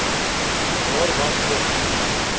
waar was dit